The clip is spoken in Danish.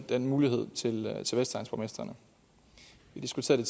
den mulighed til vestegnsborgmestrene vi diskuterede